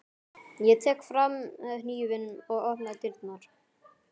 Ég tek fram hnífinn og opna dyrnar.